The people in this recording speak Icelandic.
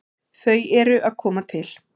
Þau eru að koma til.